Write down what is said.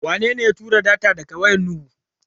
Wanene ya tura data daga wayar Nuhu?